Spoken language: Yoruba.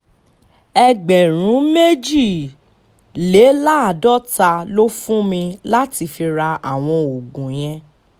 ẹgbẹ̀rún méjìléláàádọ́ta ló fún mi láti fi ra àwọn oògùn yẹn